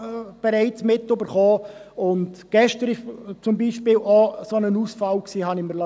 Wie ich mir habe sagen lassen, ist es gestern zu einem solchen Ausfall gekommen.